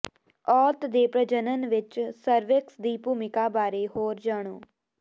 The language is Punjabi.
ਔਰਤ ਦੇ ਪ੍ਰਜਨਨ ਵਿੱਚ ਸਰਵਿਕਸ ਦੀ ਭੂਮਿਕਾ ਬਾਰੇ ਹੋਰ ਜਾਣੋ